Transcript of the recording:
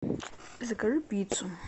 закажи пиццу